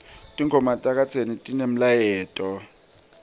tingoma takadzeni tinemlayeto